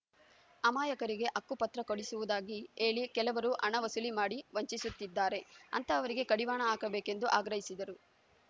ಅಮಾಯಕರಿಗೆ ಹಕ್ಕುಪತ್ರ ಕೊಡಿಸುವುದಾಗಿ ಹೇಳಿ ಕೆಲವರು ಹಣ ವಸೂಲಿ ಮಾಡಿ ವಂಚಿಸುತ್ತಿದ್ದಾರೆ ಅಂತಹವರಿಗೆ ಕಡಿವಾಣ ಹಾಕಬೇಕೆಂದು ಆಗ್ರಹಿಸಿದರು